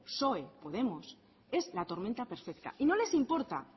psoe podemos es la tormenta perfecta y no les importa